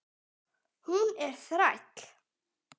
Hún er þræll.